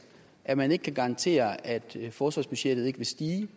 at man ikke kan garantere at forsvarsbudgettet ikke vil stige